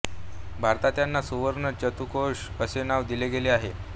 भारतात यांना सुवर्ण चतुष्कोण असे नाव दिले गेले आहे